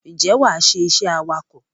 Ǹjẹ́ wàá ṣe iṣẹ́ awakọ̀?